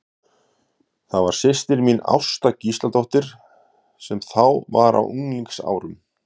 Það var systir mín, Ásta Gísladóttir, sem þá var á unglingsárum.